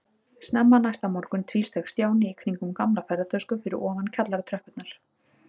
Snemma næsta morgun tvísteig Stjáni í kringum gamla ferðatösku fyrir ofan kjallaratröppurnar.